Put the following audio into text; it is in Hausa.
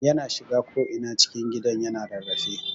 Yana shiga ko'ina cikin gidan yana rarrafe.